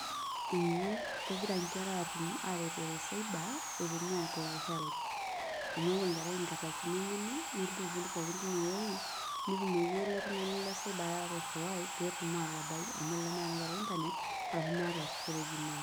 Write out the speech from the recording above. Eeh kegira inkera aretore Cyber, eponu aiapply Helb. Amuu eyau enkerai inkardasini enyenak, nemotu aiput pooki teine wueji, netumoki ele tung'ani le Cyber airiwai, peyie etum atabai amu tenemeeta ena kerai Internet, arashu meeta storage.